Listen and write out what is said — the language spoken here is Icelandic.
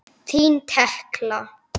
Þín Tekla.